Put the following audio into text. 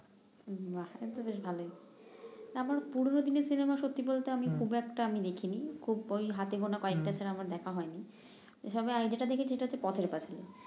বাহ তাহলে তো বেশ ভালই আমার পুরনো দিনের সিনেমা সত্যি বলতে আমি খুব একটা আমি দেখি নি খুব ঐ হাতে গোনা কয়েকটা ছাড়া আমার দেখা হয় নি এছাড়া যেটা দেখেছি সেটা হচ্ছে পথের প্যাচালি